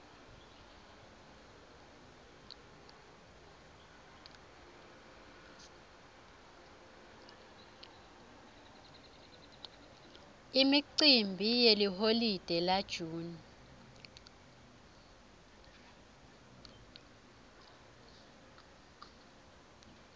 imicimbi yeliholide la june